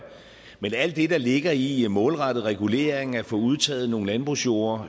men alt det der ligger i at målrette regulering at få udtaget nogle landbrugsjorde